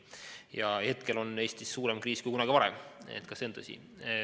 Praegu on Eestis suurem kriis kui kunagi varem, see on tõsi.